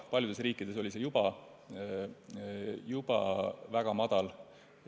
Paljudes riikides oli see juba väga madal.